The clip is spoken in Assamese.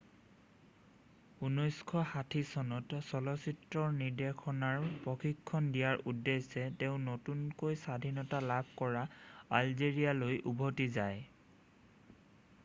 1960 চনত চলচ্চিত্ৰ নিৰ্দেশনাৰ প্ৰশিক্ষণ দিয়াৰ উদ্দেশ্যে তেওঁ নতুনকৈ স্বাধীনতা লাভ কৰা আলজেৰিয়ালৈ উভতি যায়